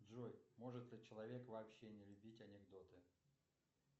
джой может ли человек вообще не любить анекдоты